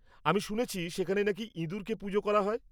-আমি শুনেছি সেখানে নাকি ইঁদুরকে পুজো করা হয়।